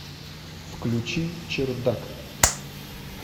включи чердак